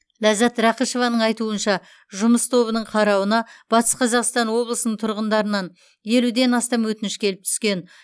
ләззат рақышеваның айтуынша жұмыс тобының қарауына батыс қазақстан облысының тұрғындарынан елуден астам өтініш келіп түскен